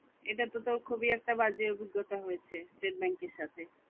এটা তো তোর খুবই একটা বাজে অভিজ্ঞতা হয়েছে state bank এর সাথে